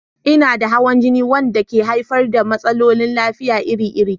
Ina da hawan jini wanda ke haifar da matsalolin lafiya iri-iri.